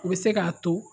U bɛ se k'a to